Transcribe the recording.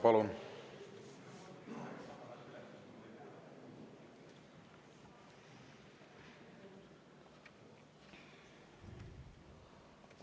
Palun!